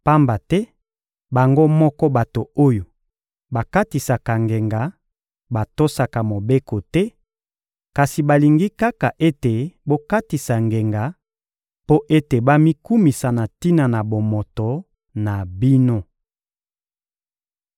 Pamba te bango moko bato oyo bakatisaka ngenga batosaka Mobeko te, kasi balingi kaka ete bokatisa ngenga mpo ete bamikumisa na tina na bomoto na bino.